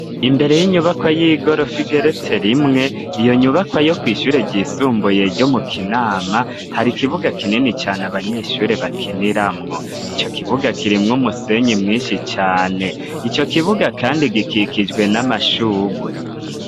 Imbere y'inyubakwa y'igorofa igeretse rimwe, iyo nyubakwa yo kw'ishure ryisumbuye ryo mu kinama ,hari ikibuga kinini cane abanyeshure bakiniramwo, ico kibuga kirimwo umusenyi mwinshi cane ,ico kibuga kandi gikikijwe n'amashurwe.